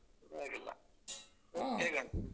ಪರ್ವಾಗಿಲ್ಲ ಹೇಗುಂಟು?